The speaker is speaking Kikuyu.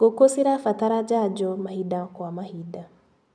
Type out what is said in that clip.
Ngũkũ cirabatara janjo mahinda kwa mahinda.